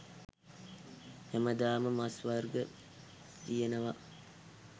හැමදාම මස් වර්ග තියෙනවා